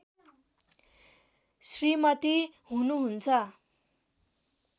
श्रीमती हुनुहुन्छ